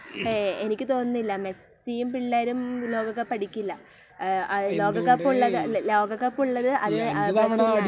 ഏയ് ... എനിക്ക് തോന്നുന്നില്ല . മെസ്സിയും പിള്ളേരും ലോകകപ്പ് അടിക്കില്ല. ലോകകപ്പുള്ളത് ., ലോകകപ്പുള്ളത് അത് ബ്രസീലിനാണ് .